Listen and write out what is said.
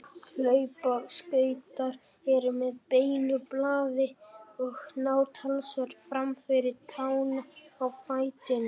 Hlaupaskautar eru með beinu blaði og ná talsvert fram fyrir tána á fætinum.